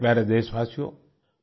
मेरे प्यारे देशवासियों